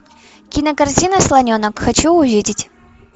кинокартина слоненок хочу увидеть